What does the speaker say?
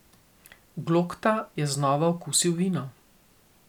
Glokta je znova okusil vino.